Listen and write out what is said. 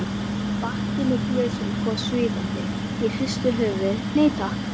Bakki með glösum kom svífandi, ég hristi höfuðið, nei takk.